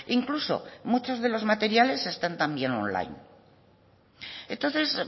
incluso muchos de los materiales están también online entonces